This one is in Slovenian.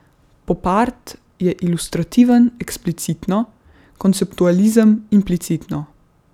Popart je ilustrativen eksplicitno, konceptualizem implicitno.